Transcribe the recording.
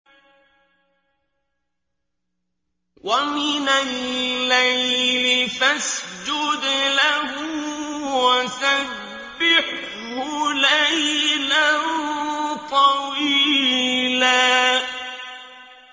وَمِنَ اللَّيْلِ فَاسْجُدْ لَهُ وَسَبِّحْهُ لَيْلًا طَوِيلًا